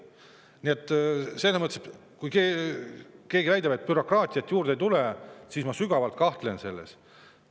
Nii et kui keegi väidab, et bürokraatiat juurde ei tule, siis ma sügavalt kahtlen selles.